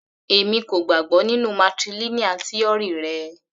Èmi kò gbàgbọ́ nínú matrilineal tíórì rẹ.